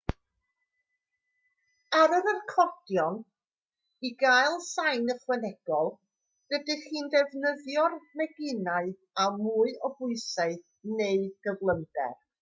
ar yr acordion i gael sain ychwanegol rydych chi'n defnyddio'r meginau â mwy o bwysau neu gyflymder